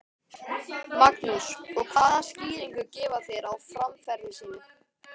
Magnús: Og hvaða skýringu gefa þeir á framferði sínu?